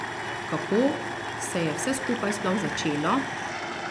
Kako se je vse skupaj sploh začelo?